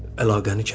Əlaqəni kəs.